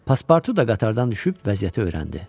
Paspartu da qatardan düşüb vəziyyəti öyrəndi.